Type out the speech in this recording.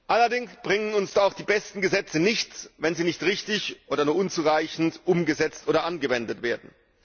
Allerdings bringen uns auch die besten Gesetze nichts, wenn sie nicht richtig oder nur unzureichend umgesetzt oder angewendet werden.